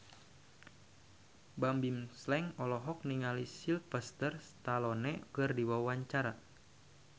Bimbim Slank olohok ningali Sylvester Stallone keur diwawancara